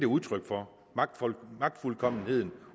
udtryk for magtfuldkommenheden